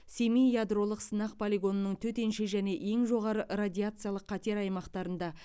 семей ядролық сынақ полигонының төтенше және ең жоғары радиациялық қатер аймақтарында